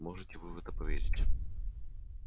можете вы в это поверить